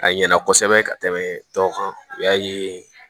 A ɲɛna kosɛbɛ ka tɛmɛ tɔw kan u y'a ye